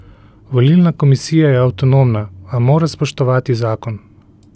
Volilna komisija je avtonomna, a mora spoštovati zakon.